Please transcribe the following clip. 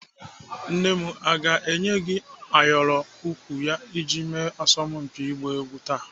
Nne m ọ ga-enye gị ayọrọ egwu iji mee asọmpi ọgba egwu taa?